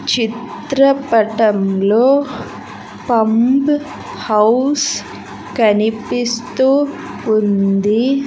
చిత్ర పటంలో pump house కనిపిస్తూ ఉంది.